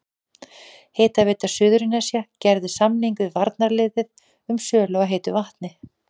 Hitaveita Suðurnesja gerði samning við varnarliðið um sölu á heitu vatni.